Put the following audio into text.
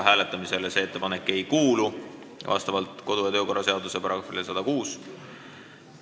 See ettepanek ei kuulu vastavalt kodu- ja töökorra seaduse §-le 106 hääletamisele.